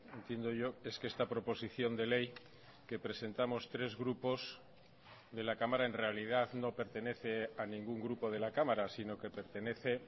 entiendo yo es que esta proposición de ley que presentamos tres grupos de la cámara en realidad no pertenece a ningún grupo de la cámara sino que pertenece